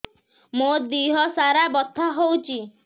ମୋ ଦିହସାରା ବଥା ହଉଚି